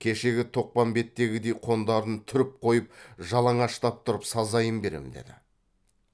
кешегі тоқпамбеттегідей қондарын түріп қойып жалаңаштап тұрып сазайын беремін деді